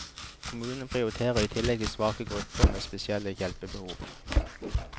Kommunen prioriterer i tillegg svake grupper med spesielle hjelpbehov.